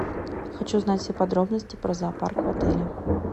хочу узнать все подробности про зоопарк в отеле